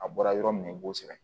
A bɔra yɔrɔ min na i b'o sɛbɛn